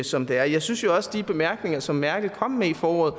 som det er jeg synes jo også de bemærkninger som angela merkel kom med i foråret